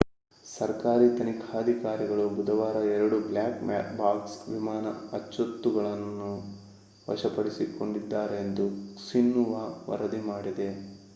ಸರ್ಕಾರಿ ತನಿಖಾಧಿಕಾರಿಗಳು ಬುಧವಾರ 2 ಬ್ಲ್ಯಾಕ್ ಬಾಕ್ಸ್' ವಿಮಾನ ಅಚ್ಚೊತ್ತುಗಗಳನ್ನು ವಶಪಡಿಸಿಕೊಂಡಿದ್ದಾರೆ ಎಂದು ಕ್ಸಿನ್ಹುವಾ ವರದಿ ಮಾಡಿದೆ